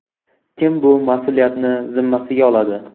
Kim bu mas’uliyatni zimmasiga oladi?